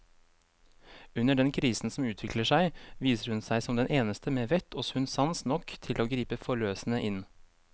Under den krisen som utvikler seg, viser hun seg som den eneste med vett og sunn sans nok til å gripe forløsende inn.